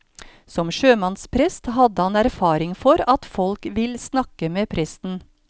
Som sjømannsprest hadde han erfaring for at folk vil snakke med presten.